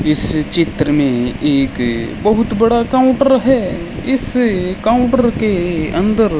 इस चित्र में एक बहुत बड़ा काउंटर है इस काउंटर के अंदर --